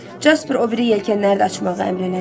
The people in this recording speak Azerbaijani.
Jasper o biri yelkənləri də açmağı əmr elədi.